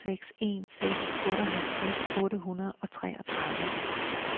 to seks en seks otteoghalvtreds otte hundrede og treogtredive